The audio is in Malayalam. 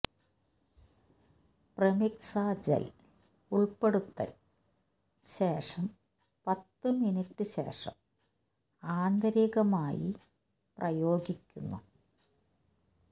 പ്രെമിക്സ ജെൽ ഉൾപ്പെടുത്തൽ ശേഷം പത്തു മിനിറ്റ് ശേഷം ആന്തരികമായി പ്രയോഗിക്കുന്നു